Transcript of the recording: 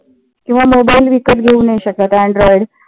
किंवा mobile विकत घेवू नाही शकत android